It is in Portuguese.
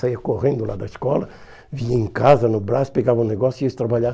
Saia correndo lá da escola, vinha em casa, no braço, pegava um negócio e ia trabalhar.